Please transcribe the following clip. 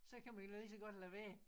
Så kan man lige så godt lade være